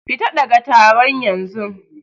Fita ɗaga taro yanzun!